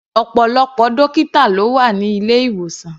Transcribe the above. Ọ̀pọ̀lọpọ̀ dọ́kítà ló wà ní ilé-ìwòsàn.